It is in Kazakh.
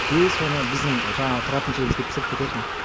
и соны біздің жаңағы тұратын жерімізге пісіріп кететін